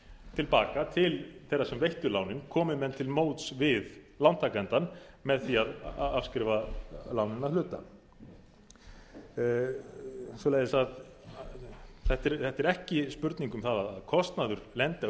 til baka til þeirra sem veittu lánin komi menn til móts við lántakandann með því að afskrifa lánin að hluta svoleiðis að þetta er ekki spurning um það að kostnaður lendi á